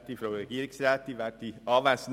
Punkt 1 können wir als Postulat zustimmen.